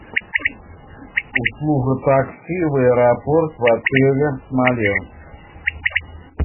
услуга такси в аэропорт в отеле смоленск